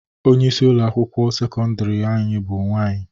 Onyeisi ụlọ akwụkwọ sekọndịrị anyị bụ nwaanyị.